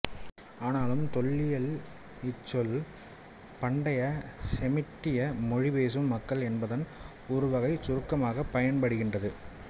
ஆனாலும் தொல்லியலில் இச்சொல் பண்டைய செமிட்டிய மொழி பேசும் மக்கள் என்பதன் ஒருவகைச் சுருக்கமாகப் பயன்படுகின்றது